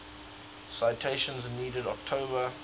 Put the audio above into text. citation needed october